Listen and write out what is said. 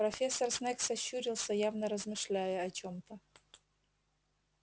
профессор снегг сощурился явно размышляя о чем-то